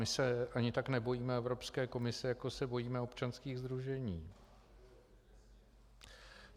My se ani tak nebojíme Evropské komise, jako se bojíme občanských sdružení.